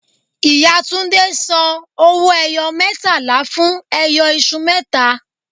Ìyá Túndé ń san owó-ẹyọ mẹẹtàlá fún ẹyọ iṣu mẹta